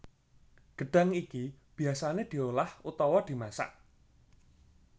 Gedhang iki biyasane diolah utawa dimasak